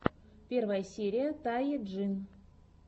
первая серия тае джин